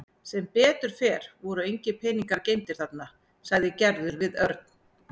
Sem betur fer voru engir peningar geymdir þarna sagði Gerður við Örn.